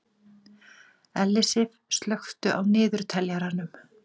Ellisif, slökktu á niðurteljaranum.